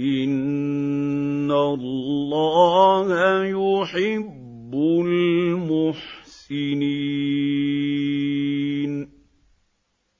إِنَّ اللَّهَ يُحِبُّ الْمُحْسِنِينَ